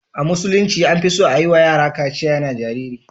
A musulunci an fi son a yi wa yara katsiya yana jariri.